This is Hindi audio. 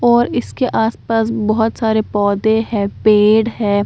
और इसके आस-पास बहुत सारे पौधे हैं पेड़ है।